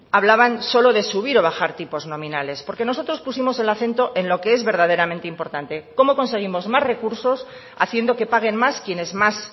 hablaban solo de subir o bajar tipos nominales porque nosotros pusimos el acento en lo que es verdaderamente importante cómo conseguimos más recursos haciendo que paguen más quienes más